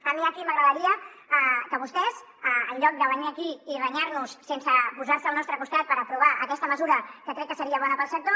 a mi aquí m’agradaria que vostès en lloc de venir aquí i renyar nos sense posar se al nostre costat per aprovar aquesta mesura que crec que seria bona per al sector